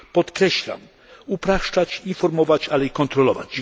podkreślam upraszczać, informować, ale i kontrolować.